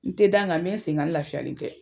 N te da, nga n be n sen kan. Nga n lafiyalen tɛ.